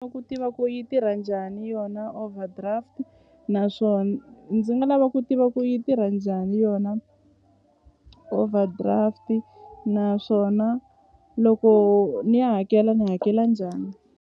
ku tiva ku yi tirha njhani yona overdraft ni nga lava ku tiva ku yi tirha njhani yona overdraft naswona loko ni ya hakela ni hakela njhani.